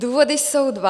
Důvody jsou dva.